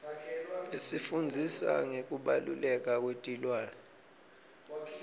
isifundzisa ngekubaluleka kwetilwane